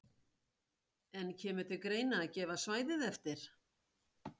En kemur til greina að gefa svæðið eftir?